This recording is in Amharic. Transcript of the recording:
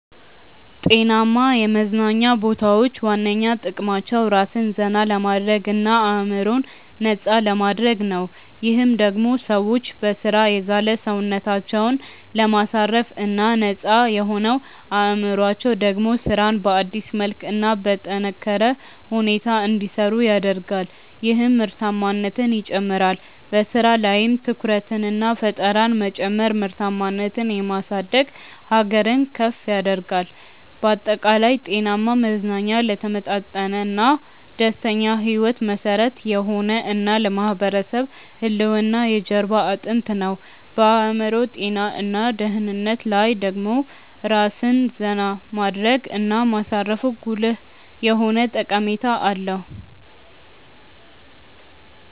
ጤናማ የመዝናኛ ቦታዎች ዋነኛ ጥቅማቸው ራስን ዘና ለማድረግ እና አዕምሮን ነፃ ለማድረግ ነው። ይህም ደሞ ሰዎች በሥራ የዛለ ሰውነታቸውን ለማሳረፍ እና ነፃ የሆነው አዕምሮአቸው ደሞ ስራን በአዲስ መልክ እና በጠነካረ ሁኔታ እንዲሰሩ ያደርጋል ይህም ምርታማነትን ይጨምራል። በሥራ ላይም ትኩረትንና ፈጠራን መጨመር ምርታማነትን የማሳደግ ሀገርን ከፍ ያደርጋል። ባጠቃላይ፣ ጤናማ መዝናኛ ለተመጣጠነና ደስተኛ ሕይወት መሠረት የሆነ እና ለማህበረሰብ ህልውና የጀርባ አጥንት ነው። በአዕምሮ ጤና እና ደህንነት ላይ ደሞ ራስን ዜና ማድረግ እና ማሳረፉ ጉልህ የሆነ ጠቀሜታ አለው።